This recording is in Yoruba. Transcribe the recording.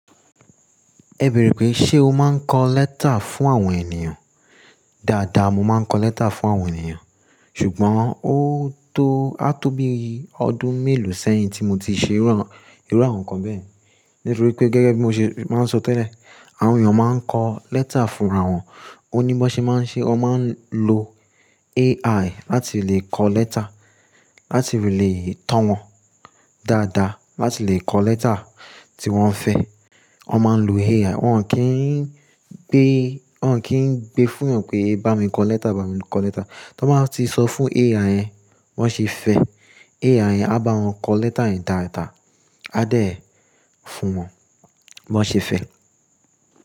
Ẹ bẹ̀rẹ̀ pé ṣe o máa ń kọ lẹ́tà fún àwọn ènìyàn? Daadaa mo máa ń kọ lẹ́tà fún àwọn ènìyàn. Ṣùgbọ́n ó tó, a tó bí ọdún mélòó sẹ́yìn tí mo ti ṣe irú àwọn nǹkan bẹ́ẹ̀. Nítorí pé gẹ́gẹ́ bí mo ṣe máa ń sọ tẹ́lẹ̀, àwọn èeyàn máa ń kọ lẹ́tà fúnra wọn. Oní bo n ṣe máa ń ṣe, wọn máa ń lo AI láti lè kọ lẹ́tà, láti lè tàn wọ́n dáadáa, láti lè kọ lẹ́tà tí wọ́n fẹ́. Wọn máa ń lo AI. Wọn ò kí ń gbé, wọn ò kí ń gbé fúnyàn pé bá mi kọ lẹ́tà, bá mi kọ lẹ́tà. Tọ́n bá wa ti sọ fún AI yẹn bí wọ́n ṣe fẹ́, AI yẹn á bá wọn kọ lẹ́tà yẹn dáadáa, á dẹ̀ ẹ́ fún wọn bí wọ́n ṣe fẹ́.